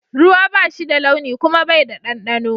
Ruwa ba shi da launi kuma Bai da dandano.